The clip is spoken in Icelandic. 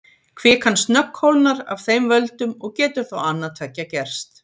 Kvikan snöggkólnar af þeim völdum og getur þá annað tveggja gerst.